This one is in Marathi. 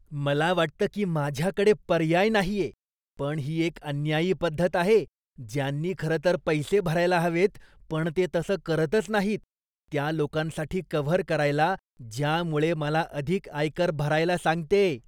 मला वाटतं की माझ्याकडे पर्याय नाहीये, पण ही एक अन्यायी पद्धत आहे, ज्यांनी खरंतर पैसे भरायला हवेत पण ते तसं करतच नाहीत, त्या लोकांसाठी कव्हर करायला, ज्यामुळे मला अधिक आयकर भरायला सांगतेय.